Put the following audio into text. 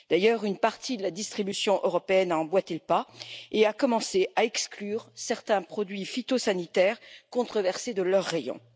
D'ailleurs, une partie de la distribution européenne a emboîté le pas et a commencé à exclure certains produits phytosanitaires controversés de ses rayons.